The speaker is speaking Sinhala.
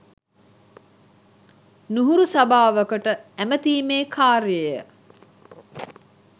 නුහුරු සභාවකට ඇමතීමේ කාර්යය